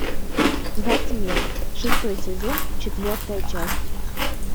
во тьме шестой сезон четвертая часть